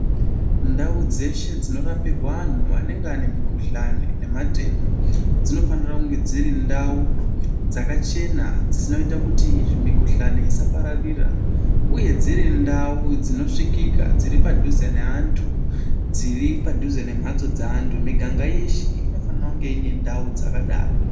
Ndau dzeshe dzinorapirwa anhu anenge ane mukuhlani nematenda dzinofanira kunge dziri ndau dzakachena dzinoita kuti mikuhlani isapararira uye dziri dzinosvikika dziri padhuze nevanthu dziri padhuze nembatso dzevanthu miganga yeshe inofana kunge ine ndau dzakadaro.